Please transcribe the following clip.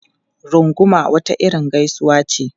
Runguma wata irin gaisuwa ce.